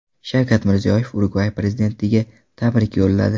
Shavkat Mirziyoyev Urugvay prezidentiga tabrik yo‘lladi.